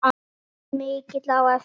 Hann verður mikill á eftir.